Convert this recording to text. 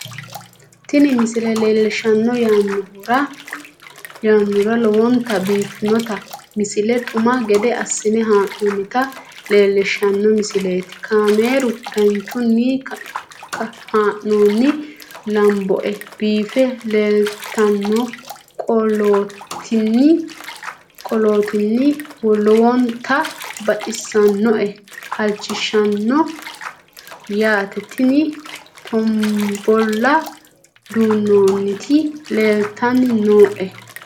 tini maa leelishshanno yaannohura lowonta biiffanota misile xuma gede assine haa'noonnita leellishshanno misileeti kaameru danchunni haa'noonni lamboe biiffe leeeltannoqolten lowonta baxissannoe halchishshanno yaate tini tombolla duunantinoti leeltanni nooe